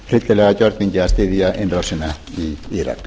hryllilega gjörningi að styðja innrásina í írak